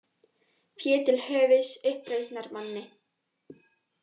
Fé til höfuðs uppreisnarmanni